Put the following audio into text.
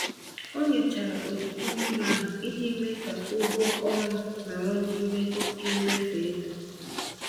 Ọ nyochara ojiji mmiri ahụ iji mee ka ụgwọ ọrụ nọrọ n'ime oke mmefu ego.